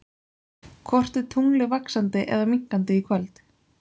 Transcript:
Hvort er tunglið vaxandi eða minnkandi í kvöld?